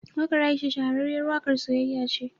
Waƙar Aisha shahararriyar waƙar siyayya ce.